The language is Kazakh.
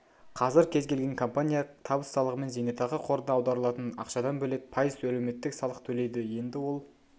қазір кез-келген компания табыс салығымен зейнетақы қорына аударылатын ақшадан бөлек пайыз әлеуметтік салық төлейді енді ол